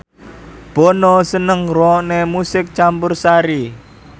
Bono seneng ngrungokne musik campursari